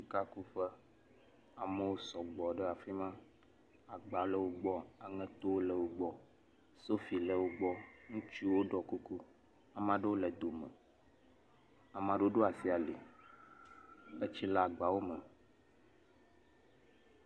Sikakuƒe, amewo sɔgbɔ ɖe afi ma, agba le wo gbɔ, aŋeto le wo gbɔ, sofi le wo gbɔ, ŋutsuwo dɔ kuku, ame aɖewo le dome ame aɖewo ɖo asi ali esti le agbawo me